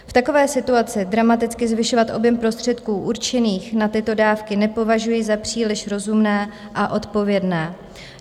V takové situaci dramaticky zvyšovat objem prostředků určených na tyto dávky nepovažuji za příliš rozumné a odpovědné.